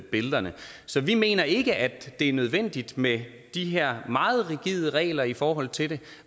billederne så vi mener ikke at det er nødvendigt med de her meget rigide regler i forhold til det